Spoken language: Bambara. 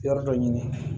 Yɔrɔ dɔ ɲini